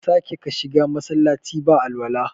Kar ka sake ka shiga Masallaci ba alwala